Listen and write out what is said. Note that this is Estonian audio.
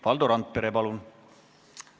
Valdo Randpere, palun!